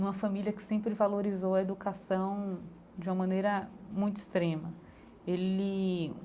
Uma família que sempre valorizou a educação de uma maneira muito extrema ele.